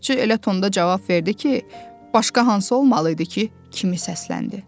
Kababçı elə tonda cavab verdi ki, başqa hansı olmalıydı ki, kimi səsləndi.